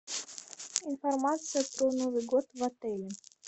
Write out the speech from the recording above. информация про новый год в отеле